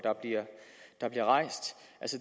der bliver rejst